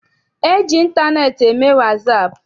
E ji ịntaneetị eme wasaapụ?